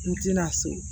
N tɛna so